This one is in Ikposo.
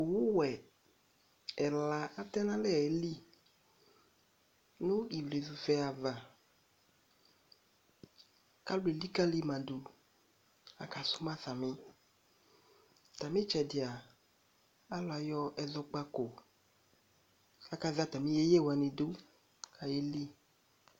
Owu vɛ ɛla atɛn'alɛ eeli nʋ ivlezu vɛ ava k'alʋ elikalima dʋ, aka suma sami Atam'itsɛdi a alʋ ayɔ ɛzɔkpako, akazɛ atami yeyewani dʋ k'ayeli